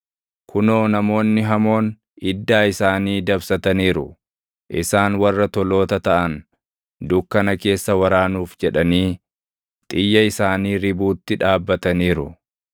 Kunoo namoonni hamoon iddaa isaanii dabsataniiru; isaan warra toloota taʼan, dukkana keessa waraanuuf jedhanii, xiyya isaanii ribuutti dhaabbataniiru.